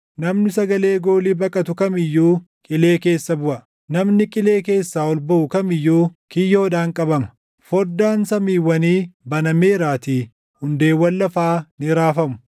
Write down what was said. Namni sagalee goolii baqatu kam iyyuu qilee keessa buʼa; namni qilee keessaa ol baʼu kam iyyuu kiyyoodhaan qabama. Foddaan samiiwwanii banameeraatii hundeewwan lafaa ni raafamu.